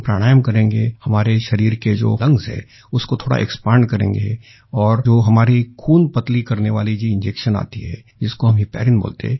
हम प्राणायाम करेंगे हमारे शरीर के जो लंग्स हैं उसको थोड़ा एक्सपैंड करेंगें और जो हमारी खून पतला करने वाली जो इंजेक्शन आती है जिसको हम हेपरिन बोलते हैं